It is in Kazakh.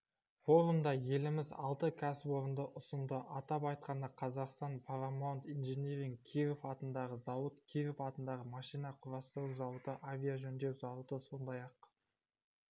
форумда еліміз алты кәсіпорынды ұсынды атап айтқанда қазақстан парамаунт инжиниринг киров атындағы зауыт киров атындағы машина құрастыру зауыты авиажөндеу зауыты сондай-ақ